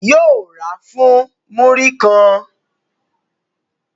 Yóò ra fún múrí kan